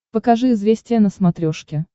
покажи известия на смотрешке